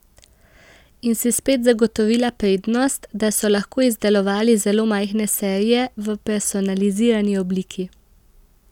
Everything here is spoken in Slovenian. In si spet zagotovila prednost, da so lahko izdelovali zelo majhne serije v personalizirani obliki.